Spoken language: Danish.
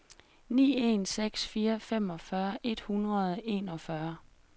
ni en seks fire femogfyrre et hundrede og enogfyrre